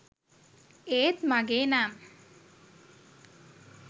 ඒත් මගේ නම්